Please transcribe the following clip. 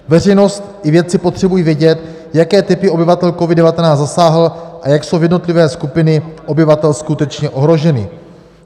Veřejnost i vědci potřebují vědět, jaké typy obyvatel COVID-19 zasáhl a jak jsou jednotlivé skupiny obyvatel skutečně ohroženy."